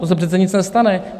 To se přece nic nestane.